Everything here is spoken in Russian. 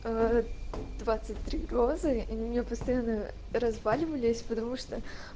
аа двадцать три розы они у меня постоянно разваливались потому что